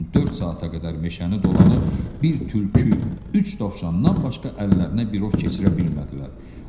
Lakin dörd saata qədər meşəni dolanıb bir tülkü, üç dovşandan başqa əllərinə bir ov keçirə bilmədilər.